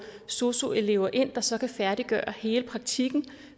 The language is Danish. sosu elever ind der så kan færdiggøre hele praktikken